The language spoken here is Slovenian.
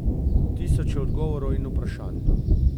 Tisoče odgovorov in vprašanj.